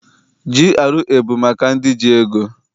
GRA abụ maka ndị ji ego?